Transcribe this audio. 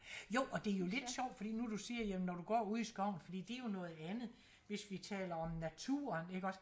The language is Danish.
Jo og det jo lidt sjovt fordi nu siger jamen når du går ude i skoven fordi det jo noget andet hvis vi taler om naturen iggås